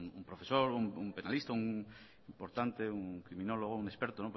pues un profesor un penalista un importante un criminólogo un experto